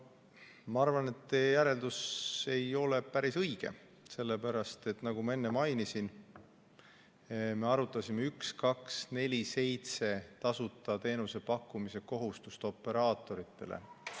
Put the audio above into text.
Ma arvan, et teie järeldus ei ole päris õige, sellepärast et nagu ma enne mainisin, me arutasime 1247 tasuta teenusena pakkumise kohustust operaatoritele.